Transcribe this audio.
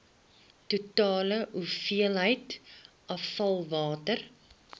totale hoeveelheid afvalwater